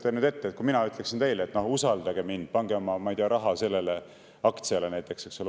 Kujutage ette, kui mina ütleksin teile: "Usalda mind, pane oma raha sellesse aktsiasse näiteks, eks ole.